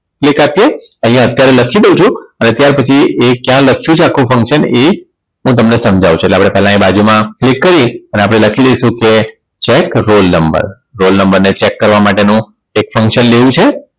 Click આપીએ અહીંયા અત્યારે લખી દઉ છું અને ત્યાર પછી એ ક્યાં લખ્યું છે આખું function એ તમને સમજાવું છું એટલે પહેલા આપણે બાજુમાં click કરી અને આપણે લખી દઈશું કે check roll number roll number ને check કરવા માટેનું એક function લેવું છે